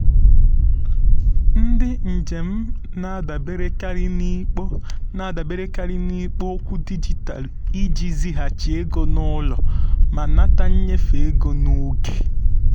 ndị njem um na-adaberekarị n'ikpo um na-adaberekarị n'ikpo okwu dijitalụ iji zighachi ego n'ụlọ um ma nata nnyefe um ego n'oge.